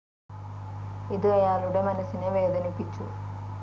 ഇത് അയാളുടെ മനസ്സിനെ വേദനിപ്പിച്ചു.